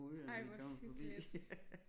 Ej hvor hyggeligt